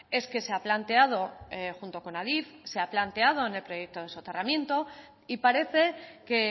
es que se ha planteado junto con adif en el proyecto de soterramiento y parece que